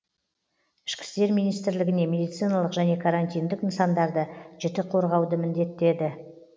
ішкі істер министрлігіне медициналық және карантиндік нысандарды жіті қорғауды міндеттеді